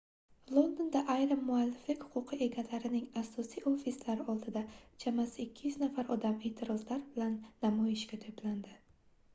londonda ayrim mualliflik huquqi egalarining asosiy ofislari oldida chamasi 200 nafar odam eʼtirozlar bilan namoyishga toʻplandi